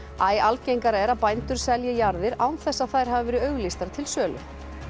æ algengara er að bændur selji jarðir án þess að þær hafi verið auglýstar til sölu